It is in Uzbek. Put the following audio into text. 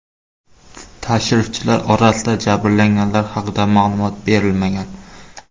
Tashrifchilar orasida jabrlanganlar haqida ma’lumot berilmagan.